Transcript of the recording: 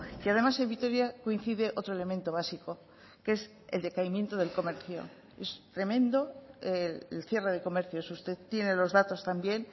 y además en vitoria coincide otro elemento básico que es el decaimiento del comercio es tremendo el cierre de comercios usted tiene los datos también